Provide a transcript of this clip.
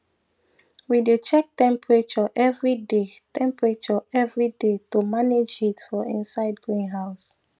we dey check temperature every day temperature every day to manage heat for inside greenhouse